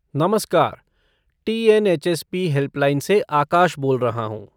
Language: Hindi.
नमस्कार! टी.एन.एच.एस.पी. हेल्पलाइन से आकाश बोल रहा हूँ।